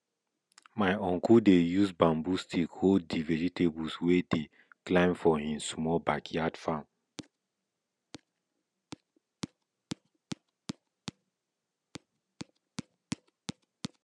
my uncle dey use bamboo stick hold di vegetables wey dey climb for hin small backyard farm